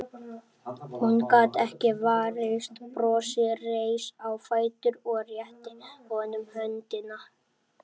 Hún gat ekki varist brosi, reis á fætur og rétti honum höndina.